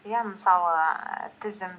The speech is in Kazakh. иә мысалы ііі тізім